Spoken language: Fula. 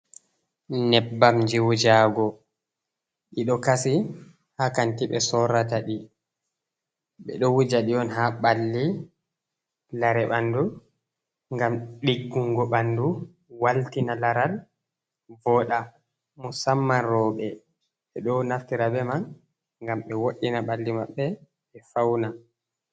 Nyebbamji wujago, ɗiɗo kasi haa kanti ɓe sorrata ɗi. Ɓe ɗo wuja ɗi on haa ɓalli, lare ɓandu ngam ɗiggungo ɓandu, waltina laral voɗa. Musamman rowɓe, ɓe ɗo naftira be man ngam ɓe woɗɗina ɓalli maɓɓe ɓe fauna.